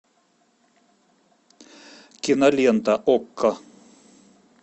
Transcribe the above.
кинолента окко